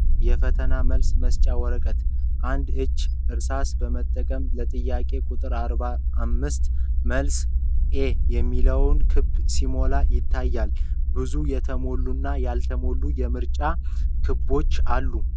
የፈተና መልስ መስጫ ወረቀት ። አንድ እጅ እርሳስ በመጠቀም ለጥያቄ ቁጥር 45 መልስ 'A' የሚለውን ክብ ሲሞላ ይታያል። ብዙ የተሞሉና ያልተሞሉ የምርጫ ክቦች አሉ።